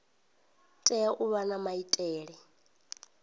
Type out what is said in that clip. tea u vha na maitele